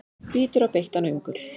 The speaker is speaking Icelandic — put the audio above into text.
Bítur á beittan öngul.